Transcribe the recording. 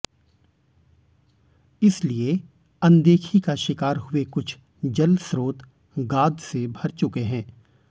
इसलिए अनदेखी का शिकार हुए कुछ जल स्रोत गाद से भर चुके हैं